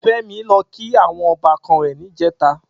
Femi lò kí áwòn òbàkàn rè nijètá